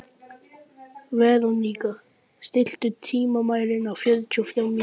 Veróníka, stilltu tímamælinn á fjörutíu og þrjár mínútur.